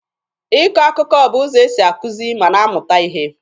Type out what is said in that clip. Ịkọ akụkọ bụ ụzọ esi akụzi ma na-amụta ihe.